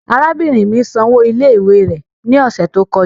Arabinrin mi san owo ile-iwe rẹ ni ọsẹ to kọja